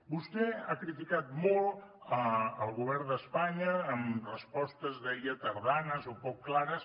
vostè ha criticat molt el govern d’espanya amb respostes deia tardanes o poc clares